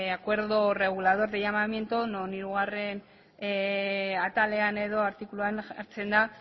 acuerdo regulador de llamamiento non hirugarren atalean edo artikuluan jartzen du